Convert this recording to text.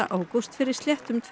tveimur árum